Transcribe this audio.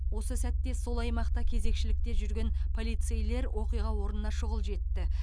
осы сәтте сол аймақта кезекшілікте жүрген полицейлер оқиға орнына шұғыл жетті